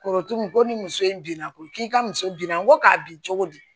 Kɔrɔtu ko ni muso in binna ko k'i ka muso binna n ko k'a bin cogo di